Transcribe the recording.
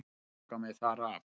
Loka mig þar af.